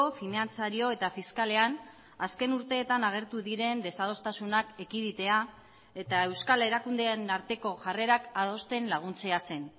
finantzario eta fiskalean azken urteetan agertu diren desadostasunak ekiditea eta euskal erakundeen arteko jarrerak adosten laguntzea zen